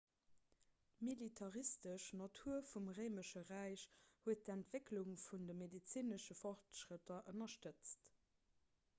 d'militaristesch natur vum réimesche räich huet d'entwécklung vun de medezinesche fortschrëtter ënnerstëtzt